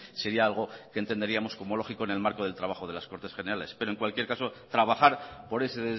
sería algo que entenderíamos como lógico en el marco de trabajo de las cortes generales pero en cualquier caso trabajar por ese